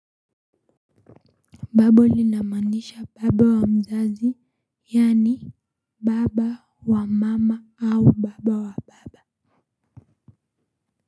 Babu linamaanisha baba wa mzazi yaani baba wa mama au baba wa baba.